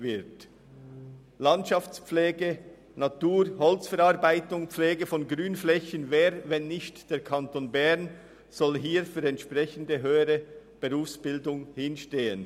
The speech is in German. Zur Landschaftspflege sowie zur Pflege von Grünflächen und zur Holzverarbeitung: Wer, wenn nicht der Kanton Bern, soll sich in diesen Bereichen für eine höhere Berufsbildung stark machen?